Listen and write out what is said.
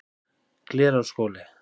Glerárskóli